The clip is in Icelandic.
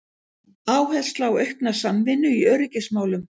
Áhersla á aukna samvinnu í öryggismálum